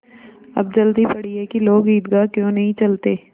अब जल्दी पड़ी है कि लोग ईदगाह क्यों नहीं चलते